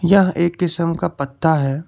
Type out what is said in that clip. यह एक किसम का पत्ता है।